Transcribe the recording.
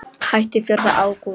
Hættum fjórða ágúst.